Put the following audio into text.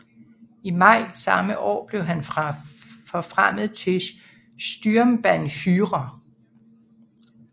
I maj samme år blev han forfremmet til Sturmbannführer